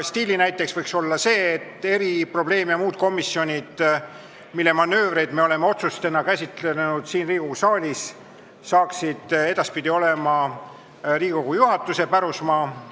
Stiilinäiteks võiks olla see, et eri-, probleem- ja muud komisjonid, mille manöövreid me oleme otsustena siin Riigikogu saalis käsitlenud, hakkaksid edaspidi olema Riigikogu juhatuse pärusmaa.